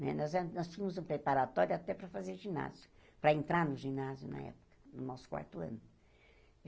Né nós en nós tínhamos um preparatório até para fazer ginásio, para entrar no ginásio na época, no nosso quarto ano.